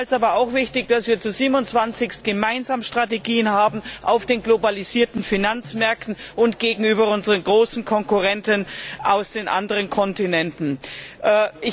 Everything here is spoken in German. Ich halte es aber auch für wichtig, dass wir 27 gemeinsame Strategien auf den globalisierten Finanzmärkten und gegenüber unseren großen Konkurrenten von den anderen Kontinenten haben.